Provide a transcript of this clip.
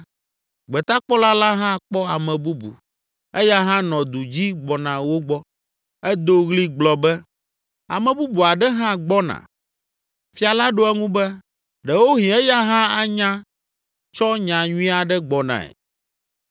Gbetakpɔla la hã kpɔ ame bubu; eya hã nɔ du dzi gbɔna wo gbɔ. Edo ɣli gblɔ be, “Ame bubu aɖe hã gbɔna.” Fia la ɖo eŋu be, “Ɖewohĩ eya hã anya tsɔ nya nyui aɖe gbɔnae.”